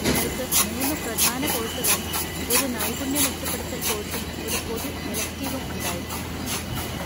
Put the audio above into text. നിങ്ങൾക്ക് മൂന്ന് പ്രധാന കോഴ്സുകളും ഒരു നൈപുണ്യ മെച്ചപ്പെടുത്തൽ കോഴ്സും ഒരു പൊതു എലെക്റ്റിവും ഉണ്ടായിരിക്കും.